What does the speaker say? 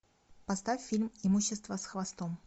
поставь фильм имущество с хвостом